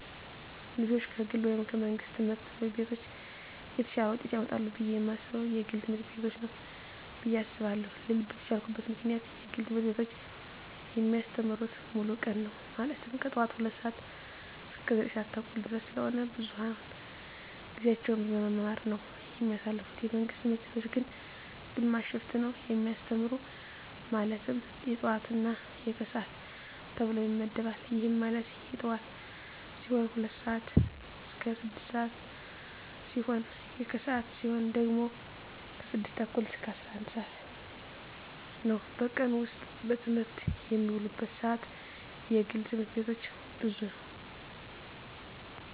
ልጆች ከግል ወይም ከመንግሥት ትምህርት ቤቶች የተሻለ ውጤት ያመጣሉ ብየ የማስበው የግል ትምህርት ቤቶችን ነው ብየ አስባለው ልልበት የቻልኩት ምክንያት የግል ትምህርት ቤቶች የሚያስተምሩት ሙሉ ቀን ነው ማለትም ከጠዋቱ 2:00 ሰዓት እስከ 9:30 ድረስ ስለሆነ ብዙውን ጊዜያቸውን በመማማር ነው የሚያሳልፉት የመንግስት ትምህርት ቤቶች ግን ግማሽ ሽፍት ነው የሚያስተምሩ ማለትም የጠዋት እና የከሰዓት ተብሎ ይመደባል ይህም ማለት የጠዋት ሲሆኑ 2:00 ስዓት እስከ 6:00 ሲሆን የከሰዓት ሲሆኑ ደግሞ 6:30 እስከ 11:00 ነው በቀን ውስጥ በትምህርት የሚውሉበት ሰዓት የግል ትምህርት ቤቶች ብዙ ነው።